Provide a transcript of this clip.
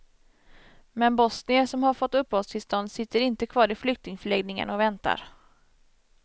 Men bosnier som har fått uppehållstillstånd sitter inte kvar i flyktingförläggningarna och väntar.